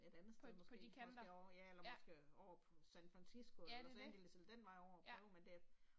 Et andet sted måske også derovre ja eller måske over San Fransisco eller Los Angeles eller den vej over og prøve men det